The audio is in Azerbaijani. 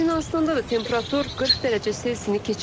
Yunanıstanda da temperatur 40 dərəcə Selsini keçib.